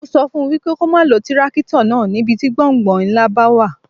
Mo sọ fún wípé kó má lo tírákítọ̀ náà ní ibi tí gbọ̀ǹgbọ̀ǹ ńlá bá wà.